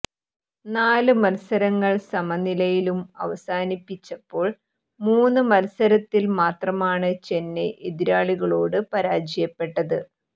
നാല് മത്സരങ്ങൾ സമനിലയിലും അവസാനിപ്പിച്ചപ്പോൾ മൂന്ന് മത്സരത്തിൽ മാത്രമാണ് ചെന്നൈ എതിരാളികളോട് പരാജയപ്പെട്ടത്